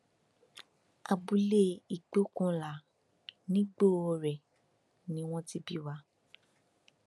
abúlé ìgbókùnlá nigbore ni wọn ti bí wa